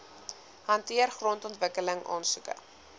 hanteer grondontwikkeling aansoeke